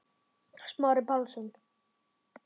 Smári Pálsson